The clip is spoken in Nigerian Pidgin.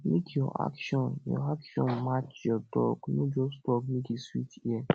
mek yur action yur action match yur tok no just tok mek e sweet ear